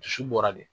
Dusu bɔra de